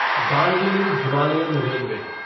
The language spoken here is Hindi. Darjeeling Himalayan railway